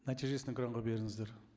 нәтижесін экранға беріңіздер